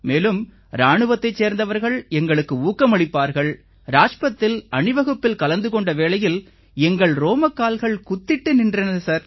மேலும் இராணுவத்தைச் சேர்ந்தவர்கள் எங்களுக்கு ஊக்கமளிப்பார்கள் ராஜ்பத்தில் அணிவகுப்பில் கலந்து கொண்ட வேளையில் எங்கள் ரோமக்கால்கள் குத்திட்டு நின்றன சார்